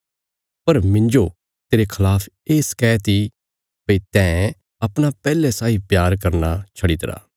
पर मिन्जो तेरे खलाफ ये शकैत इ भई तैं अपणा पैहले साई प्यार करना छड्डीतरा